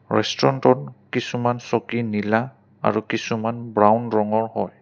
ৰেষ্টুৰেণ্টটোত কিছুমান চকী নীলা আৰু কিছুমান ব্ৰাউন ৰঙৰ হয়।